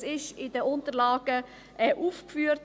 Das ist in den Unterlagen aufgeführt: